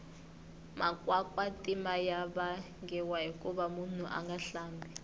makwakwatima ya vangiwa hikuva munhu anga hlambi